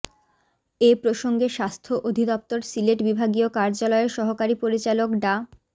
এ প্রসঙ্গে স্বাস্থ্য অধিদপ্তর সিলেট বিভাগীয় কার্যালয়ের সহকারী পরিচালক ডা